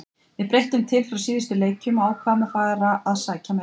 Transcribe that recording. Við breyttum til frá síðustu leikjum og ákváðum að fara að sækja meira.